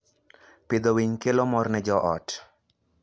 Pidho winy kelo mor ne joot.